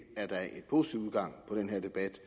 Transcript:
positiv udgang på den her debat